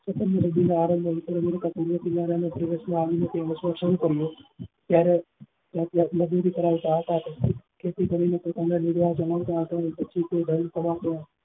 ત્યારે રાત રાત મજુરી કરાવતા હતા તેઓ ખેતી કરી ને પોતાની